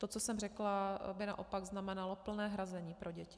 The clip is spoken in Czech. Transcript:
To, co jsem řekla, by naopak znamenalo plné hrazení pro děti.